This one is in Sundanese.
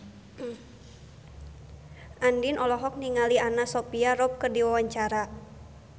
Andien olohok ningali Anna Sophia Robb keur diwawancara